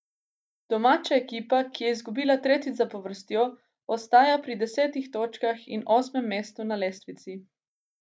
Domača ekipa, ki je izgubila tretjič zapovrstjo, ostaja pri desetih točkah in osmem mestu na lestvici.